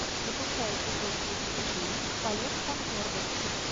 запускай эпизод тридцать четыре полет конкордов